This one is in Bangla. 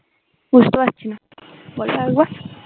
বুঝতে পারছিনা বলো আরেকবার